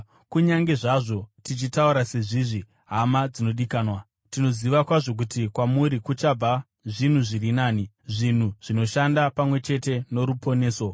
Kunyange zvazvo tichitaura sezvizvi, hama dzinodikanwa, tinoziva kwazvo kuti kwamuri kuchabva zvinhu zviri nani, zvinhu zvinoshanda pamwe chete noruponeso.